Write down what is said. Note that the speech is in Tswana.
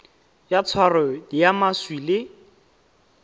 ya tshwaro ya maswi le